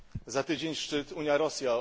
Za tydzień szczyt Unia Rosja.